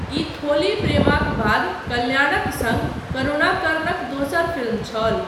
ई थोली प्रेमाक बाद कल्याणक सङ्ग करुणाकरनक दोसर फिल्म छल।